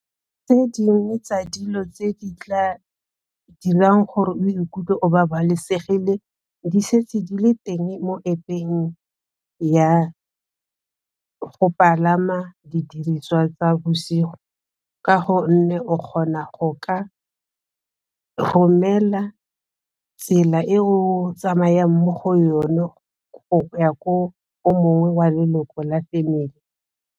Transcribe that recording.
Tse dingwe tsa dilo tse di tla dirang gore o ikutlwe o babalesegile di setse di le teng mo App-eng ya go palama didiriswa tsa bosigo ka gonne o kgona go ka romela tsela e o tsamayang mo go yone ya ko o mongwe wa leloko la family.